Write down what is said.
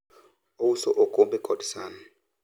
ouso okombe kod san